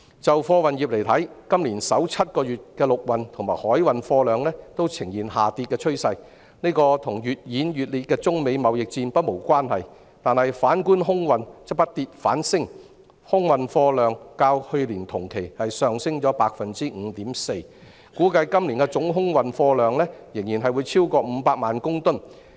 在貨運業方面，今年首7個月的陸運和海運貨量均呈現下跌趨勢，這與越演越烈的中美貿易戰不無關係，反觀空運則不跌反升，空運貨量較去年同期上升 5.4%， 估計今年的總空運貨量仍然會超過500萬公噸。